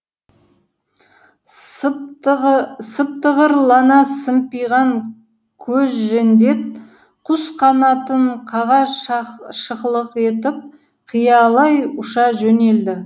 сыптығырлана сымпиған көзжендет құс қанатын қаға шықылық етіп қиялай ұша жөнелді